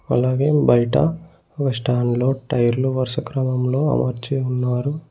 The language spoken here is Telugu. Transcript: అలాగే బైట ఒక స్టాండ్లో టైర్లు వరుస క్రమంలో అమర్చి ఉన్నారు.